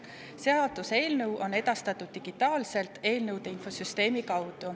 Seaduseelnõu on edastatud digitaalselt eelnõude infosüsteemi kaudu.